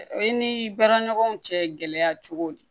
O ye ni baara ɲɔgɔnw cɛ gɛlɛya cogo de ye